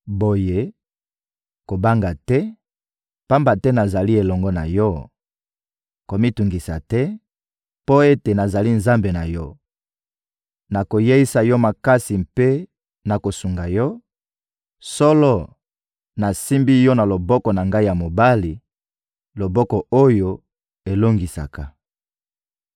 Boye, kobanga te, pamba te nazali elongo na yo; komitungisa te, mpo ete nazali Nzambe na yo; nakoyeisa yo makasi mpe nakosunga yo; solo, nasimbi yo na loboko na Ngai ya mobali, loboko oyo elongisaka.